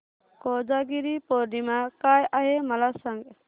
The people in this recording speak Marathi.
कोजागिरी पौर्णिमा काय आहे मला सांग